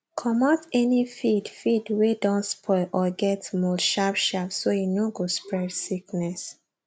comot any feed feed wey don spoil or get mold sharpsharp so e no go spread sickness